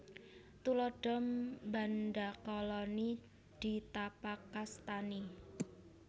Tuladha mbandakalani ditapakastani